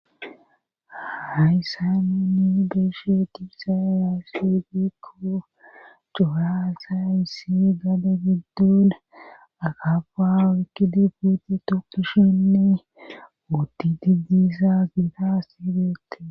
Hayssa ninni beshe tibisa raasedikko cohaasa issi gade giddona akafa wikkidi puute tokishinne uoddi di diissa gita sibete.